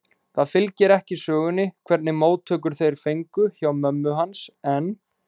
Það fylgir ekki sögunni hvernig móttökur þeir fengu hjá mömmu hans, en